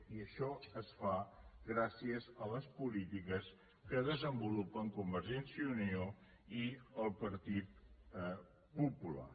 i això és clar gràcies a les polítiques que desenvolupen convergència i unió i el partit popular